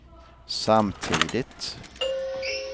samtidigt